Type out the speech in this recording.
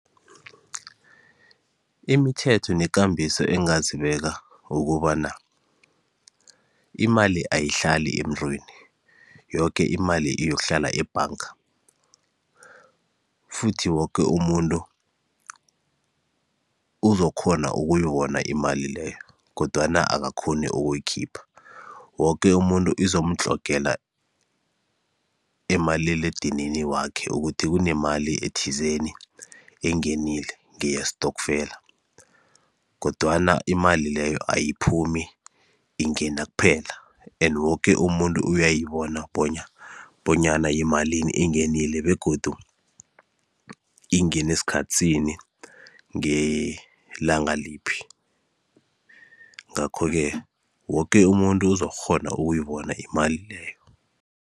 Imithetho nekambiso engingazibeka ukobana imali ayihlali emuntwini, yoke imali iyokuhlala ebhanga futhi woke umuntu uzokghona ukuyibona imali leyo kodwana akakghoni ukuyikhipha, woke umuntu izomtlogela emaliledinini wakhe ukuthi kunemali ethizeni engenile ngeyestokfela, kodwana imali leyo ayiphumi ingena kuphela and woke umuntu uyayibona bonyana yimalini engenile begodu ingene sikhathi sini ngelanga liphi, ngakho-ke woke umuntu uzokukghona ukuyibona imali leyo.